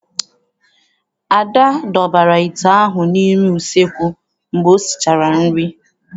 Ada dọbara ite ahụ n'ime useekwu mgbe o sichara nri.